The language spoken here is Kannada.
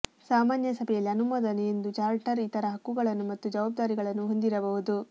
ಸಾಮಾನ್ಯ ಸಭೆಯಲ್ಲಿ ಅನುಮೋದನೆ ಎಂದು ಚಾರ್ಟರ್ ಇತರ ಹಕ್ಕುಗಳನ್ನು ಮತ್ತು ಜವಾಬ್ದಾರಿಗಳನ್ನು ಹೊಂದಿರಬಹುದು